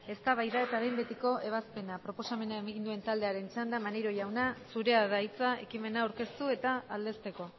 eztabaida eta behin betiko ebazpena proposamena egin duen taldearen txanda maneiro jauna zurea da hitza ekimena aurkeztu eta aldezteko